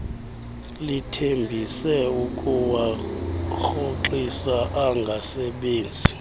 lithembise ukuwarhoxisa angasebenzi